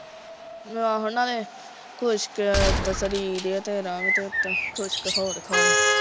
ਆਹੋ ਨਾਲੇ ਖੁਸਕ ਉੱਤੋਂ ਸਰੀਰ ਐ ਤੇਰਾ ਤੇ ਉੱਤੋਂ ਖੁਸਕ ਹੋਰ ਖਾਲੇ